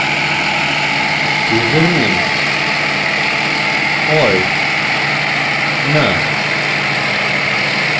username or no